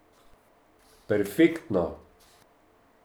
Perfektno!